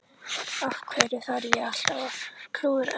Af hverju þarf ég alltaf að klúðra öllu?